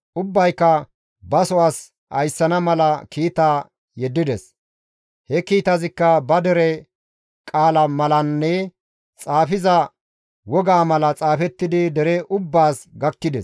Ubbayka baso as ayssana mala kiita yeddides; he kiitazikka ba dere qaala malanne xaafiza woga mala xaafettidi dere ubbaas gakkides.